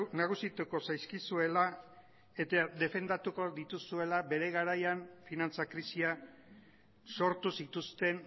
nagusituko zaizkizuela eta defendatuko dituzuela bere garaian finantza krisia sortu zituzten